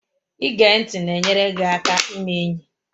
Ige ntị na-enyere gị aka ime enyi